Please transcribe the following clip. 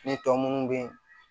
Ne tɔ munnu bɛ yen